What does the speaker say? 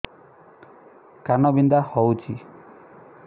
କାନ ବିନ୍ଧା ହଉଛି